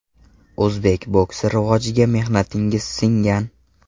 O‘zbek boksi rivojiga mehnatingiz singgan.